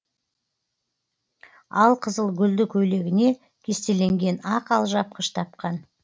алқызыл гүлді көйлегіне кестеленген ақ алжапқыш таққан